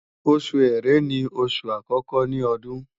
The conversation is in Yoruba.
Oṣù ẹ̀rẹ́ ni oṣù àkọ́kọ́ ní Ọdún